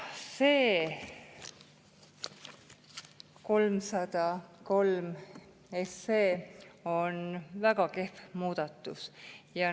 See 303 on väga kehv.